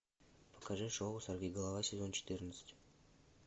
покажи шоу сорвиголова сезон четырнадцать